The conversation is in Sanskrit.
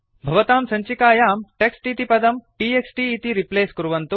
भवतां सञ्चिकायां टेक्स्ट् इति पदं t x t इति रिप्लेस् कुर्वन्तु